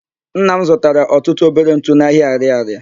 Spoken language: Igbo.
Nna m zụtara ọtụtụ obere ntụ n'ahịa Arịarịa.